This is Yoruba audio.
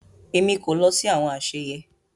Èmi kò lọ sí àwọn àsèyé